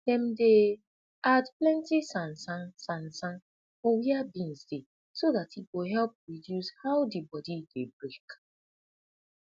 dem dey add planti sansan sansan for wia beans dey so dat e go help reduce how de body dey break